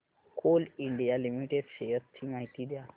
Coal India limited shares ची माहिती द्या